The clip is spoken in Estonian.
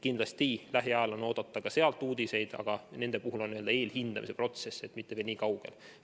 Kindlasti on lähiajal oodata ka sealt uudiseid, aga nende puhul ei ole eelhindamise protsess veel nii kaugel.